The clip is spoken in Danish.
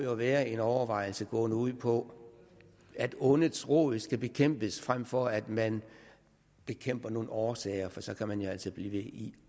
være en overvejelse gående ud på at ondets rod skal bekæmpes frem for at man bekæmper nogle årsager for så kan man jo altså blive ved i